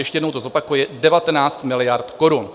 Ještě jednou to zopakuji: 19 miliard korun.